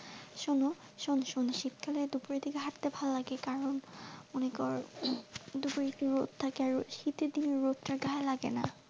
শোনো শোন্ শোন্ শীতকালে দুপুরের দিকে হাঁটতে ভালো লাগে কারণ অনেক দুপুরের একটু রোদ থাকে, শীতের দিনে রোদ টা গায়ে লাগেনা।